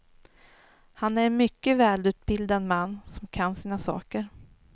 Han är en mycket välutbildad man som kan sina saker.